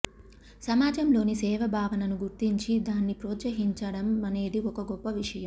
సమాజం లోని సేవ భావనను గుర్తించి దాన్నిప్రోత్సహించడం అనేది ఒక గొప్ప విషయం